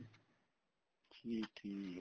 ਠੀਕ ਠੀਕ